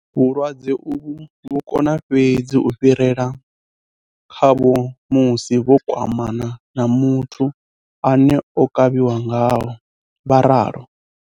"Vhulwadze uvhu vhu kona fhedzi u fhirela khavho musi vho kwamana na muthu ane o kavhiwa ngaho,'' vha ralo.